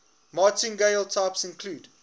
martingale types include